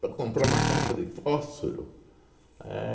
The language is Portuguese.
Para comprar uma caixa de fósforo. Éh